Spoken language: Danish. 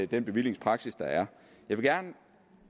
den bevillingspraksis der er jeg vil gerne